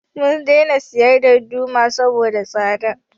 Mun daina siyan darduma saboda tsada